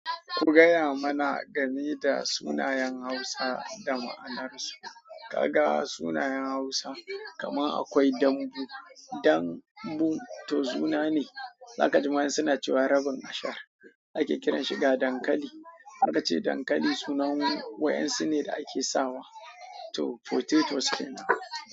Ku gaya mana game da sunayen Hausa da ma'anarsu. Ka ga sunayen Hausa kaman akwai dambu. Dambu to suna ne, za ka ji ma suna cewa rabin ashar. Ake kiran shi ga dankali. Aka ce dankali sunan wa'en su ne da ake sawa. To potatoes kenan.